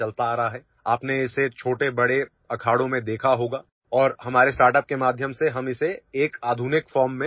You must have seen it in big and small akhadas and through our startup we have brought it back in a modern form